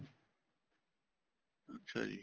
ਅੱਛਾ ਜੀ